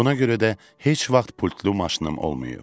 Buna görə də heç vaxt pultlu maşınım olmayıb.